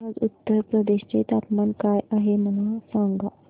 आज उत्तर प्रदेश चे तापमान काय आहे मला सांगा